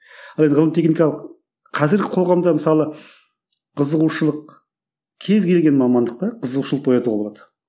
ал енді ғылыми техникалық қазіргі қоғамда мысалы қызығушылық кез келген мамандықта қызығушылықты оятуға болады